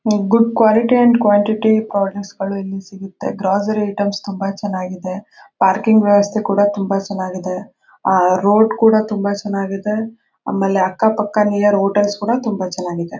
good quality and quantity products ಇಲ್ಲಿ ಸಿಗುತ್ತೆ grocery items ತುಂಬ ಚೆನ್ನಾಗಿದೆ ಪಾರ್ಕಿಂಗ್ ವ್ಯವಸ್ಥೆ ಕೂಡ ಚೆನ್ನಾಗಿ ಇದೆ ಆ ರೋಡ್ ಕೂಡ ತುಂಬ ಚೆನ್ನಾಗಿದೆ ಆಮೇಲೆ ಅಕ್ಕ ಪಕ್ಕ ನಿಯರ್ ಹೋಟೆಲ್ಸ್ ಕೂಡ ಚೆನ್ನಾಗಿ ಇದೆ